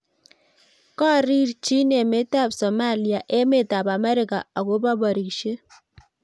korirchin emetab Somaliaemetab Amerika akobo porishiet